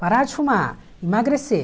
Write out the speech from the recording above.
Parar de fumar, emagrecer.